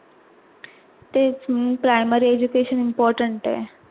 तेच म्हणून primary education important आहे.